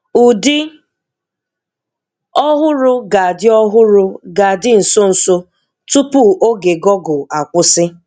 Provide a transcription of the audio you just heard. Ụdị ọ̀húrù ga-adị ọ̀húrù ga-adị nso nso, tupu ògé Google akwụsị.